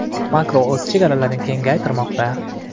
Makro o‘z chegaralarini kengaytirmoqda!.